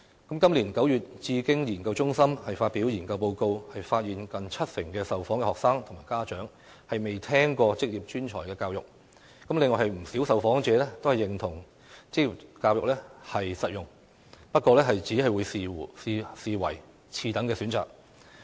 今年9月，智經研究中心發表研究報告，發現近七成受訪學生及家長未聽過職業專才教育，另有不少受訪者認同職業教育實用，不過只會視之為次等選擇。